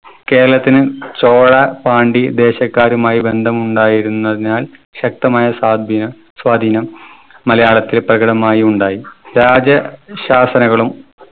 കേരളത്തിന് ചോളാ പാണ്ടി ദേശക്കാരുമായി ബന്ധമുണ്ടായിരുന്നതിനാൽ ശക്തമായ സാദിനം സ്വാധീനം മലയാളത്തില് പ്രകടമായി ഉണ്ടായി. രാജ ശാസനകളും